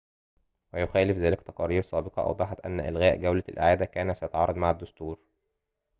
ويخالف ذلك تقارير سابقة أوضحت أن إلغاء جولة الإعادة كان سيتعارض مع الدستور